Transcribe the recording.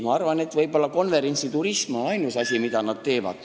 Ma arvan, et võib-olla konverentsiturism on ainus asi, millega nad tegelevad.